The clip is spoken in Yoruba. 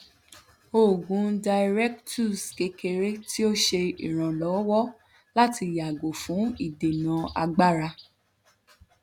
oògùn diuretics kekere ti o ṣe iranlọwọ lati yago fun idena agbara